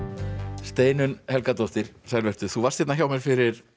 Steinunn Helgadóttir sæl vertu þú varst hérna hjá mér fyrir